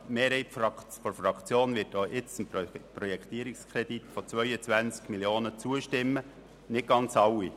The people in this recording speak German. Die Mehrheit der Fraktion wird auch jetzt dem Projektierungskredit von 22 Mio. Franken zustimmen, das heisst nicht ganz alle Mitglieder.